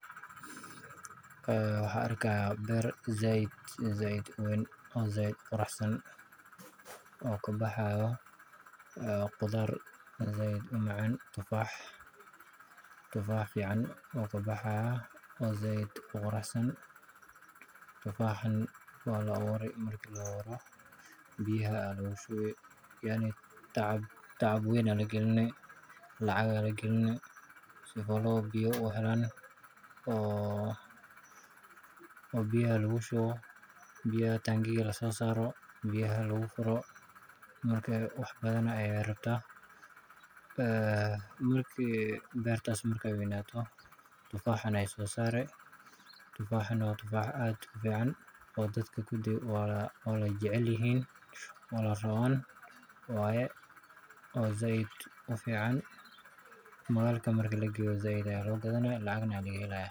Beertu si fiican bay u weyn tahay una qurux badan. Waxaa ka baxaya qudaar fiican oo macaan, tufaax fiicanna wuu baxayaa. Waa la abuuray, biyo ayaa lagu shubaa, tacab weyn ayaa lagu geliyay, lacagna waa lagu bixiyay si biyo loo helo. Biyaha tank-ga ayaa laga furayaa. Wax badan bay rabtaa beertu si ay u weynaato. Tufaaxa la soo saaray waa mid fiican oo dadka oo dhan jecel yihiin. Waa mid fiican oo suqa la geeyo, waana laga gadayaa, lacagna waa laga helayaa.